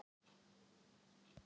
Að skipta um hest á miðju vaði